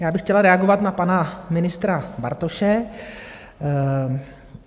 Já bych chtěla reagovat na pana ministra Bartoše.